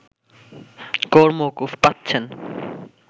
কর মওকুফ পাচ্ছেন